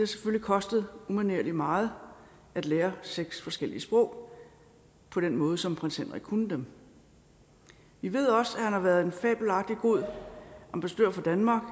selvfølgelig kostet umanerlig meget at lære seks forskellige sprog på den måde som prins henrik kunne dem vi ved også at han har været en fabelagtig god ambassadør for danmark